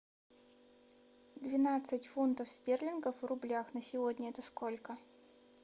двенадцать фунтов стерлингов в рублях на сегодня это сколько